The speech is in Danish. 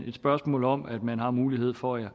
et spørgsmål om at man har mulighed for at